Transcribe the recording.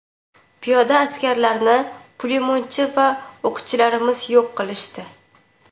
Piyoda askarlarini pulemyotchi va o‘qchilarimiz yo‘q qilishdi.